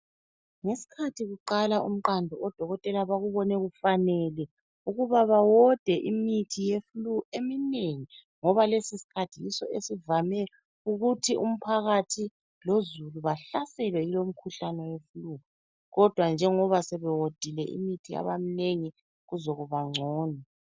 Ngesikhathi kuqala umqando, odokotela bakubone kufanele ukuba bawode imithi yeflu eminengi ngoba lesi sikhathi yiso esivame ukuthi umphakathi lozulu bahlaselwe yilo umkhuhlane weflu. Kodwa njengoba sebewodile imithi yabamnengi kuzokuba ngcono.